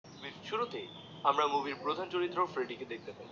শুরুতেই আমরা মুভির প্রধান চরিত্র ফ্রেডি কে দেখতে পাই